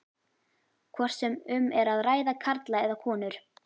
hvort sem um er að ræða karla eða konur.